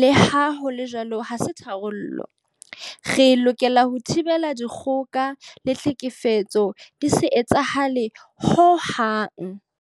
Leha ho le jwalo ha se tharollo. Re lokela ho thibela dikgoka le tlhekefetso di se etsahale hohang.